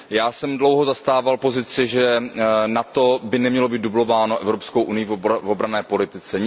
Já jsem dlouho zastával pozici, že NATO by nemělo být dublováno Evropskou unií v obranné politice.